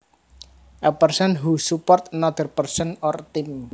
A person who supports another person or team